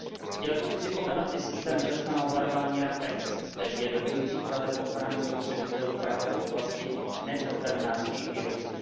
Chtěl bych připomenout i systém včasného varovaní RAPEX, který je dobrým příkladem ochrany spotřebitelů právě voblasti nepotravinářských výrobků.